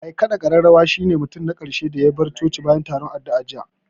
Mai ƙaɗa ƙararrawa shi ne mutum na ƙarshe da ya bar coci bayan taron addu'an jiya